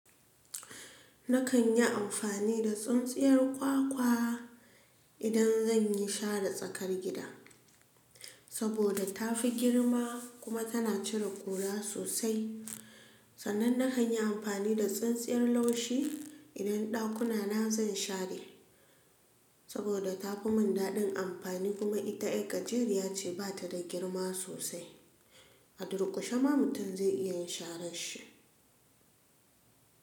Nakan yi amfani da tsintsiyar kwakwa idan zan yi share tsakar gida, saboda tafi girma kuma tana cire ƙura sosai. Sannan nakan yi amfani da tsintsiyar laushi idan ɗakuna na zan share, saboda tafi mun daɗin amfani kuma ita yar gajeriya ce ba ta da girma sosai, a durƙushe ma mutum zai iya share shi.